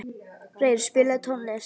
Reyr, spilaðu tónlist.